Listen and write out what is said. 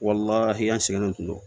Walahi an sigilen tun don